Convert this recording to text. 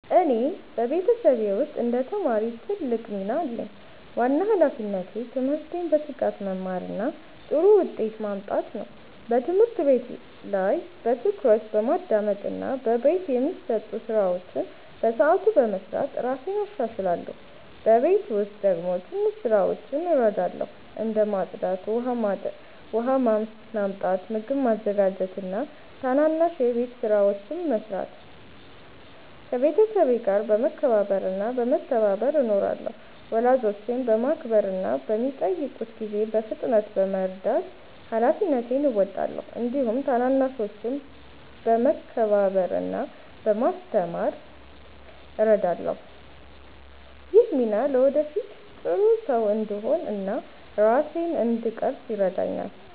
እኔ በቤተሰቤ ውስጥ እንደ ተማሪ ትልቅ ሚና አለኝ። ዋና ሃላፊነቴ ትምህርቴን በትጋት መማር እና ጥሩ ውጤት ማምጣት ነው። በትምህርት ቤት ላይ በትኩረት በማዳመጥ እና በቤት የሚሰጡ ስራዎችን በሰዓቱ በመስራት እራሴን እሻሻላለሁ። በቤት ውስጥ ደግሞ ትንሽ ስራዎችን እረዳለሁ፣ እንደ ማጽዳት፣ ውሃ ማመጣት፣ ምግብ ማዘጋጀት እና ትናንሽ የቤት ስራዎችን መስራት። ከቤተሰቤ ጋር በመከባበር እና በመተባበር እኖራለሁ። ወላጆቼን በማክበር እና በሚጠይቁት ጊዜ በፍጥነት በመርዳት ሃላፊነቴን እወጣለሁ። እንዲሁም ታናናሾችን በመከባበር እና በማስተማር እረዳለሁ። ይህ ሚና ለወደፊት ጥሩ ሰው እንድሆን እና ራሴን እንድቀርፅ ይረዳኛል።